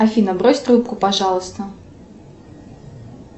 афина брось трубку пожалуйста